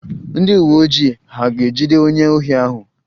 Ndị uwe ojii hà ga-ejide onye ohi ahụ?